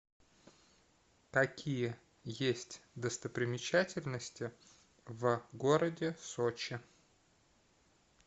какие есть достопримечательности в городе сочи